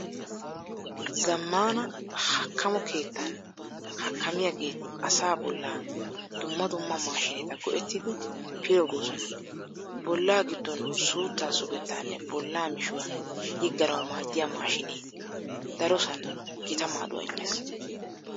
Zammaana hakkamo keettan hakkamiyageeti asaa bollaa dumma dumma maashiineta go"ettidi pilggoosona. Bollaa giddon suuttaa sugettaanne bollaa mishuwa yigganawu maaddiya maashiinee darosan gita maaduwa immees.